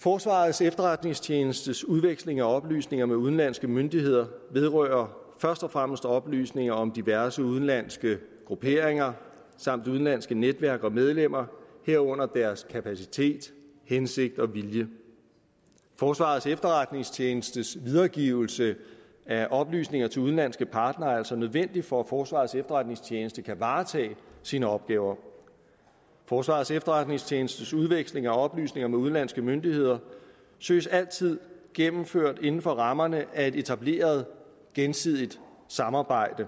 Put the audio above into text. forsvarets efterretningstjenestes udveksling af oplysninger med udenlandske myndigheder vedrører først og fremmest oplysninger om diverse udenlandske grupperinger samt udenlandske netværk og medlemmer herunder deres kapacitet hensigt og vilje forsvarets efterretningstjenestes videregivelse af oplysninger til udenlandske partnere er altså nødvendig for at forsvarets efterretningstjeneste kan varetage sine opgaver forsvarets efterretningstjenestes udveksling af oplysninger med udenlandske myndigheder søges altid gennemført inden for rammerne af et etableret gensidigt samarbejde